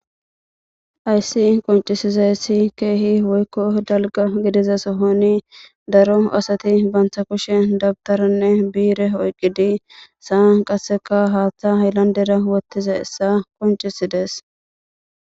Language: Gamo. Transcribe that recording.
Hayisi qoncisizayisi kehippe woyikko daliga gidiza sohon daro asati banita boshiya da iteranne nire oyikidi saani qase haaththa hayilanidera woththizayisa qoncisides